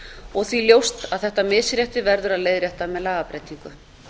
og því ljóst að þetta misrétti verður að leiðrétta með lagabreytingu